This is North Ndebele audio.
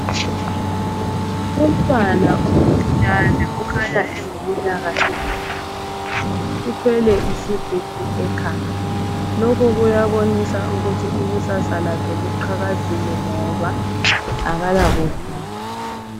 Umntwana omncinyane oleminyaka engaphansi kwetshumi uthwele isigubhu ekhanda ,lokhu kutshengisa ukuthi ikusasa lakhe liqhakazile ngoba kala buvila.